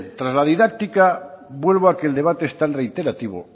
tras la didáctica vuelvo a que el debate es tan reiterativo